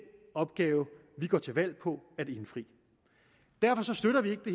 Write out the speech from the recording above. opgave vi går til valg på at indfri derfor støtter vi ikke det